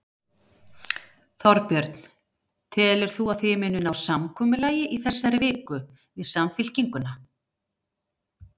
Þorbjörn: Telur þú að þið munið ná samkomulagi í þessari viku, við Samfylkinguna?